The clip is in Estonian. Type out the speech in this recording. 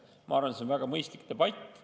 Ma arvan, et see oleks väga mõistlik debatt.